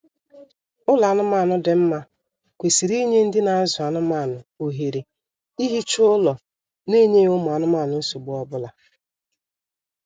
Ụlọ anụmaanụ dị mma kwesịrị inye ndị na azụ anụmaanụ ohere ihicha ụlọ n'enyeghị ụmụ anụmanụ nsogbu ọbụla